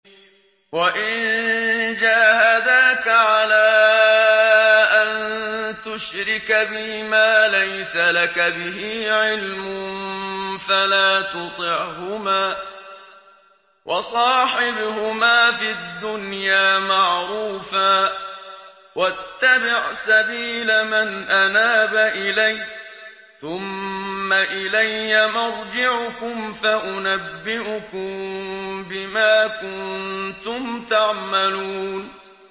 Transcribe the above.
وَإِن جَاهَدَاكَ عَلَىٰ أَن تُشْرِكَ بِي مَا لَيْسَ لَكَ بِهِ عِلْمٌ فَلَا تُطِعْهُمَا ۖ وَصَاحِبْهُمَا فِي الدُّنْيَا مَعْرُوفًا ۖ وَاتَّبِعْ سَبِيلَ مَنْ أَنَابَ إِلَيَّ ۚ ثُمَّ إِلَيَّ مَرْجِعُكُمْ فَأُنَبِّئُكُم بِمَا كُنتُمْ تَعْمَلُونَ